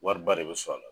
Wariba de bɛ sɔrɔ a la